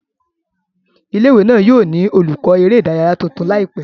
Ile-iwe náà yóò ni olukọ ere idaraya tuntun laipẹ